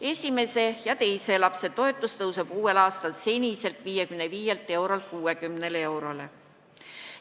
Esimese ja teise lapse toetus kasvab uuel aastal seniselt 55 eurolt 60 euroni.